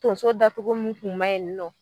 Tonso datugu min tun ma yi nɔ